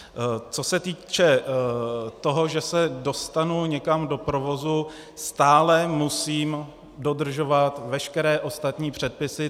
Co se týče toho, že se dostanu někam do provozu, stále musím dodržovat veškeré ostatní předpisy.